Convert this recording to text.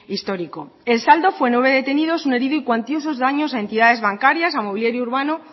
histórico el saldo fue nueve detenidos un herido y cuantiosos daños a entidades bancarias mobiliario urbano